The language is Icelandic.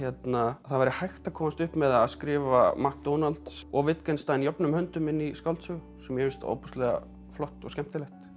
það væri hægt að komast upp með að skrifa McDonalds og jöfnum höndum inn í skáldsögu sem mér finnst ofboðslega flott og skemmtilegt